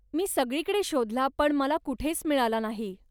मी सगळीकडे शोधला पण मला कुठेच मिळाला नाही.